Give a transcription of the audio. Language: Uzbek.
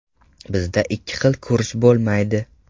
Bizda ikki xil kurs bo‘lmaydi.